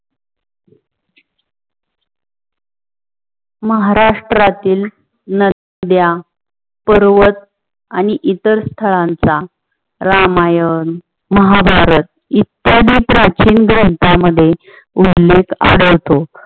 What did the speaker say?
महाराष्ट्रातील नद्या, पर्वत आणि इतर स्थळांचा रामायण, महाभारत इत्त्यादी प्राचीन ग्रंथा मध्ये वर्णीत आढळतो.